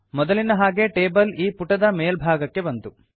ಮೊದಲಿನ ಹಾಗೆ ಟೇಬಲ್ ಈ ಪುಟದ ಮೇಲ್ಭಾಗಕ್ಕೆ ಬಂತು